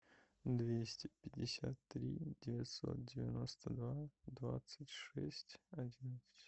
двести пятьдесят три девятьсот девяносто два двадцать шесть одиннадцать